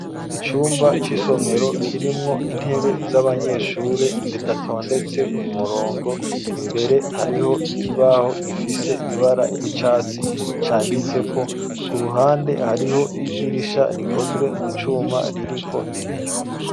Icumba c'isomero kirimwo intebe z'abanyeshuri zidatondetse ku murongo, imbere hariho ikibaho gifise ibara ry'icatsi canditseko, ku ruhande hariho idirisha rikozwe mu cuma ririko ibiyo.